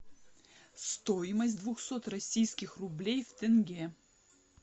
стоимость двухсот российских рублей в тенге